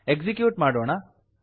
execute ಮಾಡೋಣ